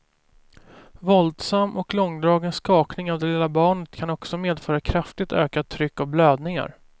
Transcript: Våldsam och långdragen skakning av det lilla barnet kan också medföra kraftigt ökat tryck och blödningar.